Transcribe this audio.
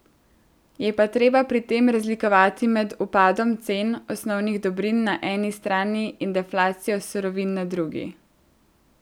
Je pa treba pri tem razlikovati med upadom cen osnovnih dobrin na eni strani in deflacijo surovin na drugi.